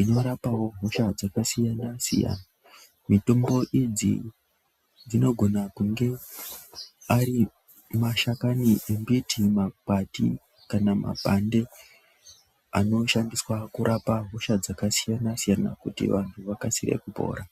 inorapawo nzira dzakasiyana siyana mitombo idzi dzinogona kunge Ari mashakani makwati kana mapande anoshandiswa kurapa hosha dzakasiyana siyana kuti vantu vakasire kupora.